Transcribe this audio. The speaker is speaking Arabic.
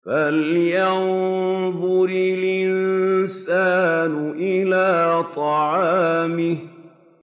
فَلْيَنظُرِ الْإِنسَانُ إِلَىٰ طَعَامِهِ